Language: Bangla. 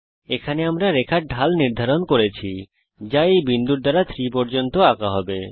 এখানে আমরা রেখার ঢাল নির্ধারণ করছি যা এই বিন্দুর দ্বারা 3 পর্যন্ত আঁকা হবে